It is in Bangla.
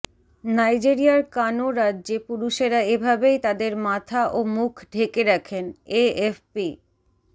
নাইজেরিয়ার কানো রাজ্যে পুরুষেরা এভাবেই তাদের মাথা ও মুখ ঢেকে রাখেন এএফপি